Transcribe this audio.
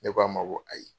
Ne k'a ma ko ayi